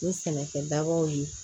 Ni sɛnɛkɛ dabaw ye